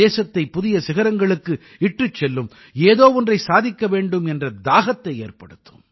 தேசத்தைப் புதிய சிகரங்களுக்கு இட்டுச் செல்லும் ஏதோ ஒன்றை சாதிக்க வேண்டும் என்ற தாகத்தை ஏற்படுத்தும்